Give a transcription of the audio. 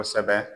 Kosɛbɛ